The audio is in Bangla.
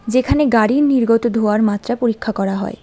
যেখানে গাড়ির নির্গত ধোঁয়ার মাত্রা পরীক্ষা করা হয়।